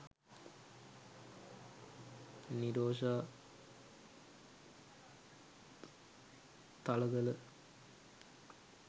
nirosha thalagala